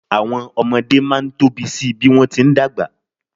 Àwọn ọmọdé máa ń tóbi si bí wọ́n ti ń dàgbà.